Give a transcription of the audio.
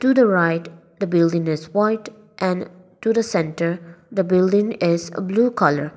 to the right the building is white and to the centre the building is a blue colour.